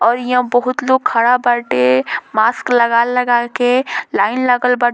और यहाँ बहुत लोग खड़ा बाटे मास्क लगा-लगा के लाइन लगल बा --